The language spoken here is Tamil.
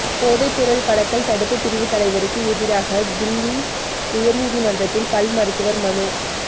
போதைப் பொருள் கடத்தல் தடுப்புப் பிரிவு தலைவருக்கு எதிராக தில்லி உயா்நீதிமன்றத்தில் பல் மருத்துவா் மனு